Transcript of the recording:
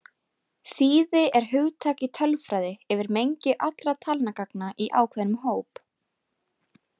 Þýði er hugtak í tölfræði yfir mengi allra talnagagna í ákveðnum hóp.